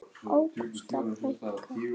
Ágústa frænka.